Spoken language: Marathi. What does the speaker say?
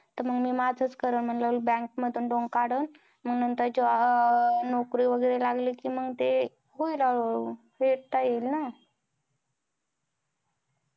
ता मी माझंच करेल म्हणलं bank मधून loan काढलं मंग नंतर job आह नोकरी वैगेरे लागली कि मग ते होईल हळूहळू फेडता येईल ना